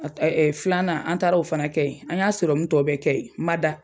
Ɛ ɛ filanan an taara o fana kɛ yen an y'a sɔrɔmu tɔ bɛ kɛ yen n ma da